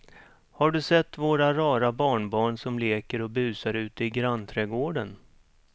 Har du sett våra rara barnbarn som leker och busar ute i grannträdgården!